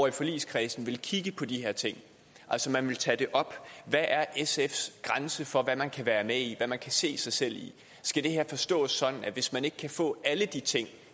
i forligskredsen vil kigge på de her ting altså man vil tage det op hvad er sfs grænse for hvad man kan være med i hvad man kan se sig selv i skal det her forstås sådan at hvis man ikke kan få alle de ting